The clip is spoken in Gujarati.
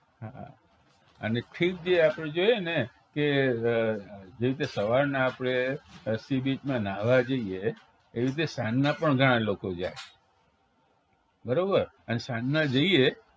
હા અને ખીજીએ આપણે જોઈએને કે જેવી રીતે સવારના આપણે sea beach માં નાહવા જઈએ એવી રીતે સાંજના પણ ઘણાં લોકો જા બરોબર અને સાંજના જઈએ